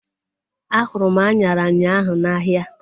A hụrụ m anyara ụnyaahụ n'ahia